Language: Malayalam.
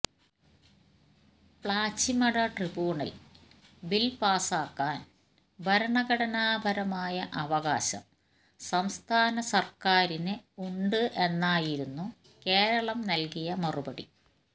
പ്ലാച്ചിമട ട്രിബ്യൂണല് ബില് പാസാക്കാന് ഭരണഘടനാ പരമായ അവകാശം സംസ്ഥാന സര്ക്കാരിന് ഉണ്ട് എന്നായിരുന്നു കേരളം നല്കിയ മറുപടി